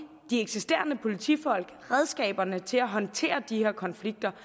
de eksisterende politifolk redskaberne til at håndtere de her konflikter